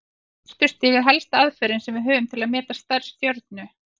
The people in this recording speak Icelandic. Birtustig er helsta aðferðin sem við höfum til að meta stærð stjörnu.